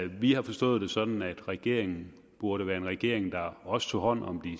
vi har forstået det sådan at regeringen burde være en regering der også tog hånd om de